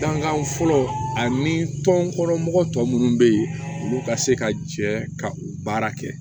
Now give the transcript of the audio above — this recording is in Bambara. Dankan fɔlɔ ani tɔn mɔgɔ tɔ minnu bɛ yen olu ka se ka jɛ ka u baara kɛ